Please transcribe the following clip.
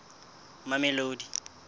mamelodi